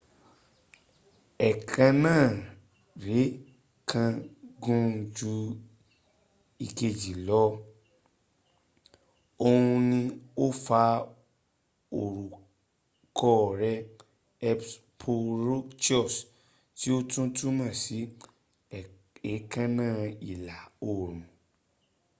èékánná rẹ̀ kan gùn ju ìkejì lọ òhun ni ó fa orúkọ rẹ̀ hesperonychus tí ó tún túmọ̀ sí éèkánná ìlà oòrùn